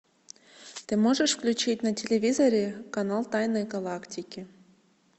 ты можешь включить на телевизоре канал тайны галактики